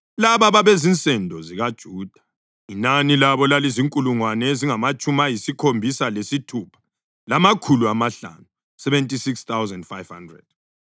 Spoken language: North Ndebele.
Laba babezinsendo zikaJuda; inani labo lalizinkulungwane ezingamatshumi ayisikhombisa lesithupha, lamakhulu amahlanu (76,500).